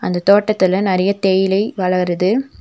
இந்த தோட்டத்துல நெறைய தேயிலை வளருது.